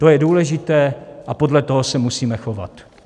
To je důležité a podle toho se musíme chovat.